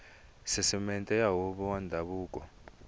sisiteme ya huvo ya ndhavuko